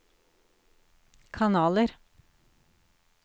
kanaler